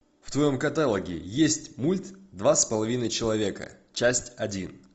в твоем каталоге есть мульт два с половиной человека часть один